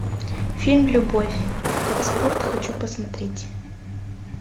фильм любовь как спорт хочу посмотреть